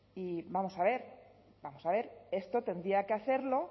y vamos a ver vamos a ver esto tendría que hacerlo